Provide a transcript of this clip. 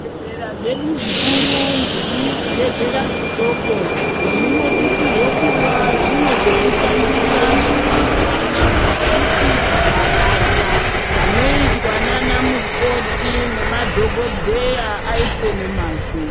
Zvibhedhlera zvedu zvikuru, nezvibhedhleya zvidoko, zvinosisirwa kuva zvine zvekushandisa zvakakwana ,zvokuti mabasa anoyitwa nana mukoti nemadhokodheya ayitwe nomazvo.